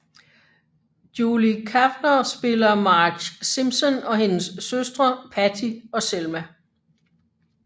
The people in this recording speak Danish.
Julie Kavner spiller Marge Simpson og hendes søstre Patty og Selma